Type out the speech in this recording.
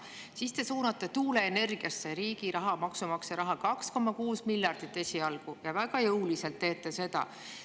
Siis te suunate tuuleenergiasse riigi raha, maksumaksja raha, esialgu 2,6 miljardit, ja väga jõuliselt teete seda.